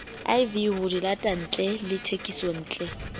iv ho dilatantle le thekisontle